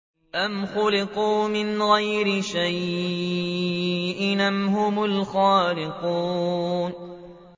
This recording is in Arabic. أَمْ خُلِقُوا مِنْ غَيْرِ شَيْءٍ أَمْ هُمُ الْخَالِقُونَ